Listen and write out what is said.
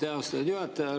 Aitäh, austatud juhataja!